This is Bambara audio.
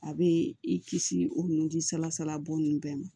A bɛ i kisi o nunji salasala bo nin bɛɛ ma